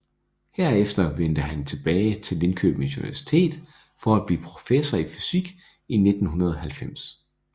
Derefter vendte han tilbage til Linköpings Universitet for at blive professor i fysik i 1990